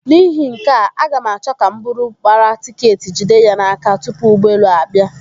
N'ihi nke a, aga m achọ ka m buru gbara tiketi jide ya n'aka tupu ụgbọelu ahụ abịa.